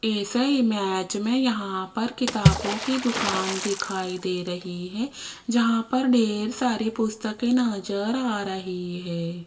इस इमेज में यहां पर किताबों की दुकान दिखाई दे रही है जहां पर ढेर सारी पुस्तके नजर आ रही है।